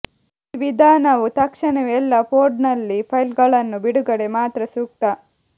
ಈ ವಿಧಾನವು ತಕ್ಷಣವೇ ಎಲ್ಲಾ ಫೋಲ್ಡರ್ನಲ್ಲಿ ಫೈಲ್ಗಳನ್ನು ಬಿಡುಗಡೆ ಮಾತ್ರ ಸೂಕ್ತ